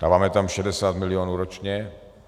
Dáváme tam 60 milionů ročně.